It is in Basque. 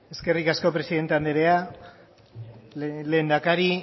eskerrik asko presidente anderea lehendakari